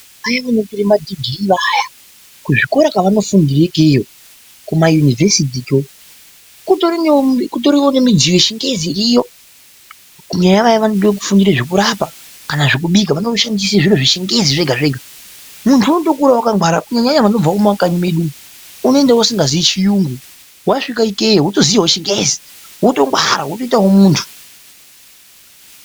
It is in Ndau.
Vana vanotore madhigirii vaya, kuzvikora kwavanofundira ikeyeyo kumayunivesitiyo kutoriwo nemidziyo yechingezi iriyo kunyanya vaya vanode kufundire zvekurapa kana zvekubika vanoshandise zviro zveChingezi zvega zvega. Muntu unodo kukura wakangwara kunyanyanya vanobva mumakanyi medu umu unoenda usingaziyi chiyungu wasvika ikeyo wotoziyawo ChiNgezi wotongwara wotoita muntu.